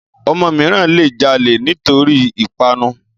ọmọ mìíràn le jalè nítorí ìpanu